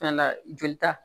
Fɛnɛ la joli ta